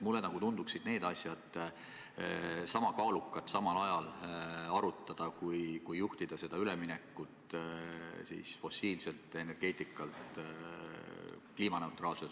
Mulle tunduvad need asjad sama kaalukad, neid võiks arutada samal ajal, kui juhitakse üleminekut fossiilselt energeetikalt kliimaneutraalsele.